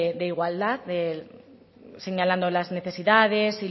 de igualdad señalando las necesidades